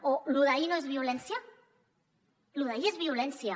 o lo d’ahir no és violència lo d’ahir és violència